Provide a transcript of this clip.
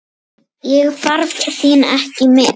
Ég þarf þín ekki með.